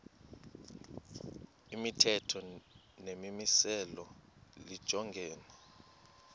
imithetho nemimiselo lijongene